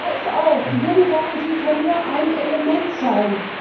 Klar ist auch, die Jugendgarantie kann nur ein Element sein.